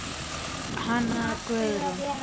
Hanna Guðrún.